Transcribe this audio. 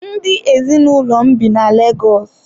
Ndị ezinụlọ m bi na Lagos.